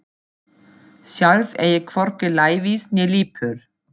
Sjálf er ég hvorki lævís né lipur.